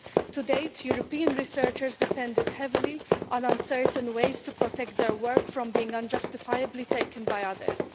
To date, European researchers have depended heavily on uncertain ways to protect their work from being unjustifiably taken by others.